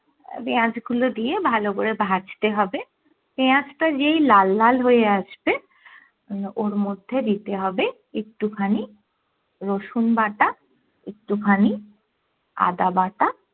পেঁয়াজ গুলো দিয়ে ভালো করে ভাজতে হবে পেঁয়াজ টা যেই লাল লাল হয়ে আসবে ওর মধ্যে দিতে হবে একটু খানি রসুন বাটা, একটু খানি আদাবাটা